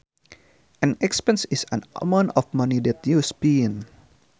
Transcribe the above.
An expense is an amount of money that you spend